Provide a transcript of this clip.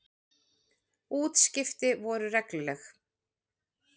Útskipti voru regluleg.